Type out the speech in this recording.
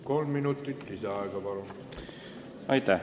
Kolm minutit lisaaega.